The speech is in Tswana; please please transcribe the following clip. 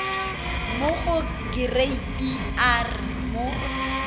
mo go kereite r mo